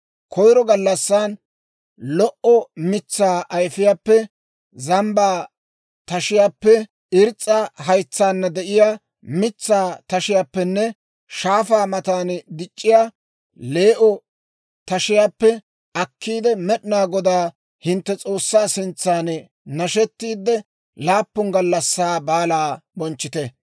Koyro gallassan lo"o mitsaa ayifiyaappe, zambbaa tashiyaappe, irs's'a haytsaana de'iyaa mitsaa tashiyaappenne shaafaa matan dic'c'iyaa lee"o tashiyaappe akkiide, Med'inaa Godaa hintte S'oossaa sintsan nashetiidde, laappun gallassaa baalaa bonchchite.